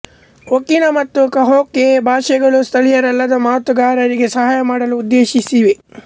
okina ಮತ್ತು kahako ಭಾಷೆಗಳು ಸ್ಥಳೀಯರಲ್ಲದ ಮಾತುಗಾರರಿಗೆ ಸಹಾಯ ಮಾಡಲು ಉದ್ದೇಶಿಸಿವೆ